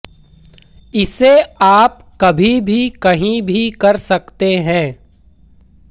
इसे आप कभी भी कही भी कर सकते है